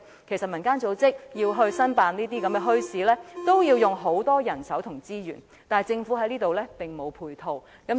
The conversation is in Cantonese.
其實，民間組織申辦墟市，要花很多人手和資源，但政府在這方面並沒有提供配套。